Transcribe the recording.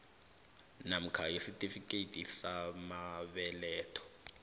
namkha isitifikhethi samabeletho